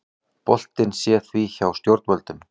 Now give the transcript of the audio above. Boltinn sé því hjá stjórnvöldum